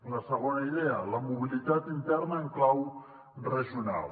la segona idea la mobilitat interna en clau regional